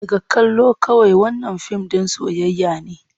Daga kallo kawai, wannan fim ɗin soyayya ne.